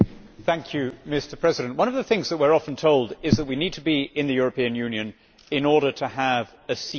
Mr President, one of the things that we are often told is that we need to be in the European Union in order to have a seat at the table.